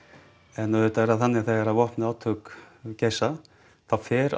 en auðvitað er það þannig þegar eru vopnuð átök þá fer